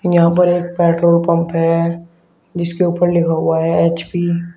यहां पर एक पेट्रोल पंप है जिसके ऊपर लिखा हुआ हैं एच_पी ।